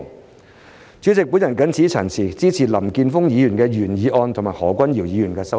代理主席，我謹此陳辭，支持林健鋒議員的原議案和何君堯議員的修正案。